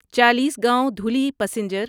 Chalisgaon Dhule passenger